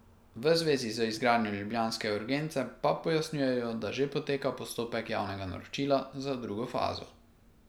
V zvezi z izgradnjo ljubljanske urgence pa pojasnjujejo, da že poteka postopek javnega naročila za drugo fazo.